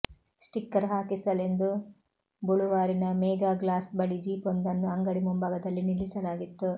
sticker ಹಾಕಿಸಲೆಂದು ಬೊಳುವಾರಿನ Mega Glass ಬಳಿ ಜೀಪೊಂದನ್ನು ಅಂಗಡಿ ಮುಂಭಾಗದಲ್ಲಿ ನಿಲ್ಲಿಸಲಾಗಿತ್ತು